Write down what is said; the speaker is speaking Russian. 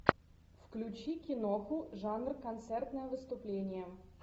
включи киноху жанр концертное выступление